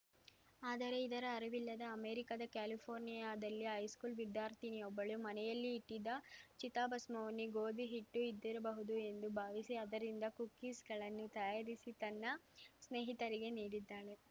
ಆದರೆ ಇದರ ಅರಿವಿಲ್ಲದ ಅಮೆರಿಕದ ಕ್ಯಾಲಿಫೆರ್ನಿಯಾದಲ್ಲಿ ಹೈಸ್ಕೂಲ್‌ ವಿದ್ಯಾರ್ಥಿನಿಯೊಬ್ಬಳು ಮನೆಯಲ್ಲಿ ಇಟ್ಟಿದ್ದ ಚಿತಾಭಸ್ಮವನ್ನು ಗೋಧಿ ಹಿಟ್ಟು ಇದ್ದಿರಬಹುದು ಎಂದು ಭಾವಿಸಿ ಅದರಿಂದ ಕುಕೀಸ್‌ಗಳನ್ನು ತಯಾರಿಸಿ ತನ್ನ ಸ್ನೇಹಿತರಿಗೆ ನೀಡಿದ್ದಾಳೆ